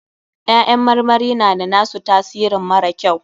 Ƴaƴan marmari na da na su tasirin mara kyau.